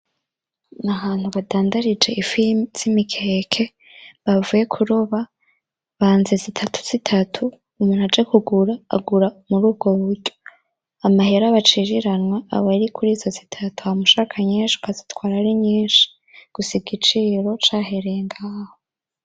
Ni ahantu badandarije ifi z’imikeke, bavuye kuroba, banze zitatu zitatu , umuntu aje kugura agura murubwo buryo . Amahera baciriranwa ab’ari kurizo zitatu hama ushaka nyinshi ukazitwara ari nyinshi gusa igiciro cahereye ngaho .